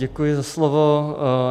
Děkuji za slovo.